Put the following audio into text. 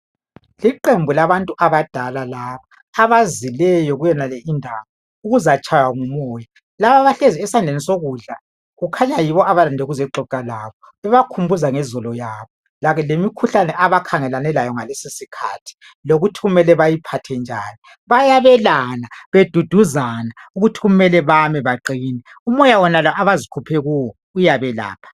Iiqembu labantu abadala laba abazileyo kuyonale indawo ukuzatshaywa ngumoya abahlezi esandleni sokudla kukhanya yibo abalinde ukuzoxoxa labo bebakhumbuza ngezolo yabo lemikhuhlane abakhangelane layo ngalesisikhathi lokuthi bayiphathe njani bayabelana beduduzana ukuthi kumele bame baqine umoya wonalo abazikhuphe kuwo uyabelapha.